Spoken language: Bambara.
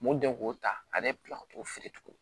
Mun den k'o ta ale bila o t'o feere tuguni